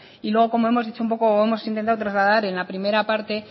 y luego como hemos dicho un poco o hemos intentado trasladar en la primera parte